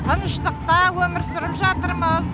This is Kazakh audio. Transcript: тыныштықта өмір сүріп жатырмыз